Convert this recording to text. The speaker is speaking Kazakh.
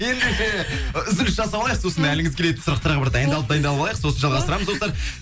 ендеше і үзіліс жасап алайық сосын әліңіз келетін сұрақтарға бір дайындалып дайындалып алайық сосын жалғастырамыз достар